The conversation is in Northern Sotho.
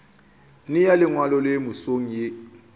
nea lengwalo le mesong ye